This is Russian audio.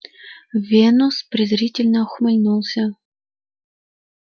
венус презрительно ухмыльнулся